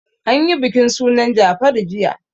An yi bikin sunan Jafaru jiya.